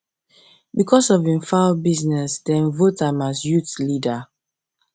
because of him fowl business dem vote am as youth leader